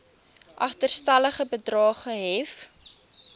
agterstallige bedrae gehef